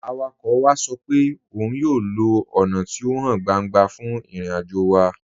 Awakọ̀ wa sọ pẹ̀ ọ́un yóò lọ ọ́na tí o háń gbàńgbà fún ìrìn-àjò wa.